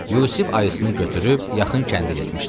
Yusif ayısını götürüb yaxın kəndə getmişdi.